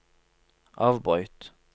avbryt